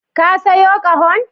Ka sayo ƙahon?